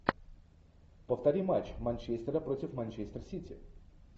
повтори матч манчестера против манчестер сити